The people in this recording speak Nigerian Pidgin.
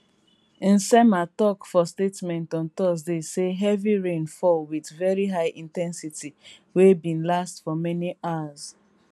nsema tok for statement on thursday say heavy rain fall wit veri high in ten sity wey bin last for many hours